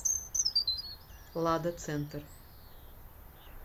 лада центр